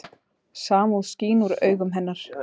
Samúð skín úr augum hennar.